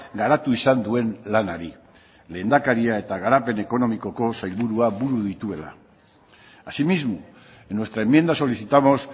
garatu izan duen lanari lehendakaria eta garapen ekonomikoko sailburua buru dituela asimismo en nuestra enmienda solicitamos